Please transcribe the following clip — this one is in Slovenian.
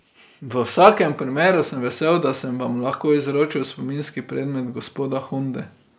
V vsakem primeru sem vesel, da sem vam lahko izročil spominski predmet gospoda Honde.